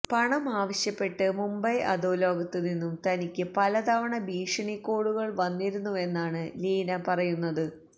പണം ആവശ്യപ്പെട്ട് മുംബൈ അധോലോകത്ത് നിന്നും തനിക്ക് പല തവണ ഭീഷണി കോളുകള് വന്നിരുന്നുവെന്നാണ് ലീന പറയുന്നത്